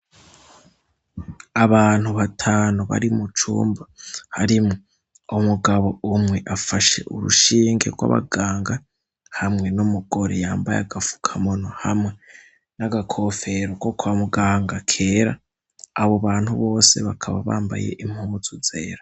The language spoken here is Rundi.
Abantu batanu bari mu cumba. Harimwo umugabo umwe afashe urushinge rw'abaganga, hamwe n'umugore yambaye agafukamunwa hamwe n'agakofero ko kwa muganga kera, abo bantu bose bakaba bambaye impuzu nzera.